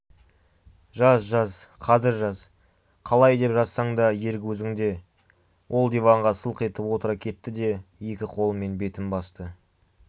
жаз жаз қазір жаз қалай деп жазсаң да ерік өзіңде ол диванға сылқ етіп отыра кетті де екі қолымен бетін басты